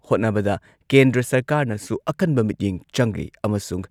ꯍꯣꯠꯅꯕꯗ ꯀꯦꯟꯗ꯭ꯔ ꯁꯔꯀꯥꯔꯅꯁꯨ ꯑꯀꯟꯕ ꯃꯤꯠꯌꯦꯡ ꯆꯪꯂꯤ ꯑꯃꯁꯨꯡ